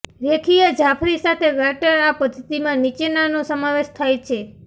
રેખીય જાફરી સાથે ગાર્ટર આ પદ્ધતિમાં નીચેનાનો સમાવેશ થાય છે